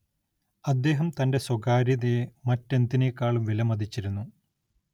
അദ്ദേഹം തന്റെ സ്വകാര്യതയെ മറ്റെന്തിനേക്കാളും വിലമതിച്ചിരുന്നു.